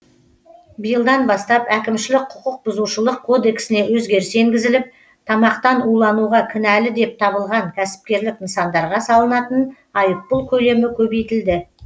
биылдан бастап әкімшілік құқық бұзушылық кодексіне өзгеріс енгізіліп тамақтан улануға кінәлі деп табылған кәсіпкерлік нысандарға салынатын айыппұл көлемі көбейтілді